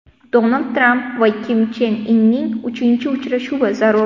Donald Tramp va Kim Chen Inning uchinchi uchrashuvi zarur.